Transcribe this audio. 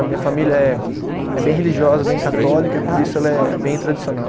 A minha família é, é bem religiosa, bem católica, e por isso ela é bem tradicional.